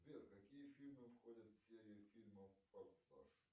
сбер какие фильмы входят в серию фильмов форсаж